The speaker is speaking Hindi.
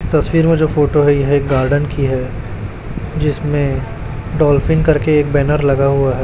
यह तस्वीर में जो फोटो है यह गार्डन की है जिसमें डॉल्फिन करके एक बैनर लगा हुआ है।